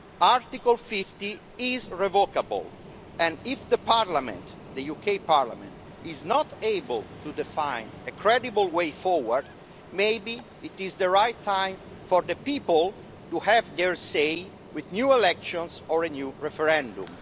Article 50 is revocable and if the UK parliament is not able to define a credible way forward, maybe it is the right time for the people to have their say with new elections or a new referendum.